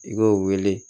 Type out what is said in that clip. I b'o wele